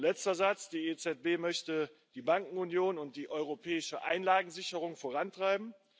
Letzter Satz Die EZB möchte die Bankenunion und die europäische Einlagensicherung vorantreiben.